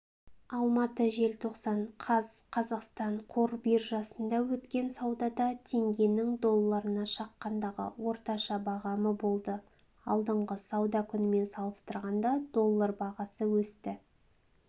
алматы желтоқсан қаз қазақстан қор биржасында өткен саудада теңгенің долларына шаққандағы орташа бағамы болды алдыңғы сауда күнімен салыстырғанда доллар бағасы өсті